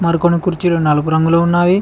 మరికొన్ని కుర్చీలు నలుపు రంగులో ఉన్నాయి.